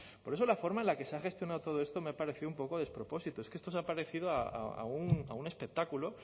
por eso la forma en la que se ha gestionado todo esto me parece un poco despropósito es que esto se ha parecido a un espectáculo